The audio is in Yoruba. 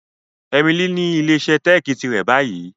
Emily ni ile-iṣẹ teeki tirẹ ni bayi.